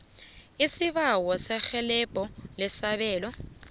isibawo serhelebho lesabelo